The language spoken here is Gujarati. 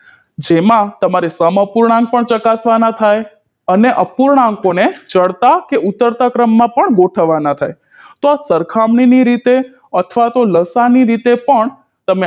જેમાં તમારે સમઅપૂર્ણાંક પણ ચકાશવાના થાય અને અપૂર્ણાંકોને ચડતા કે ઉતરતા ક્રમ માં પણ ગોઠવવાના થાય તો આ સરખામણી ની રીતે અથવા તો લાસાઅ ની રીતે પણ